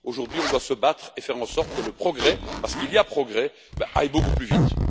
Aujourd'hui, on doit se battre et faire en sorte que le progrès parce qu'il y a progrès aille beaucoup plus vite.